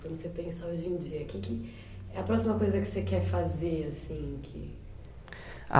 Quando você pensa hoje em dia, o que que é a próxima coisa que você quer fazer assim?